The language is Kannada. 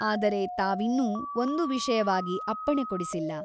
ಆದರೆ ತಾವಿನ್ನೂ ಒಂದು ವಿಷಯವಾಗಿ ಅಪ್ಪಣೆ ಕೊಡಿಸಿಲ್ಲ.